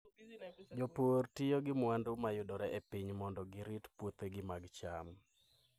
Jopur tiyo gi mwandu ma yudore e piny mondo girit puothegi mag cham.